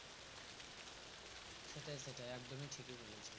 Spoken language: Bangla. সেটাই সেটাই একদমই ঠিকই বলেছি।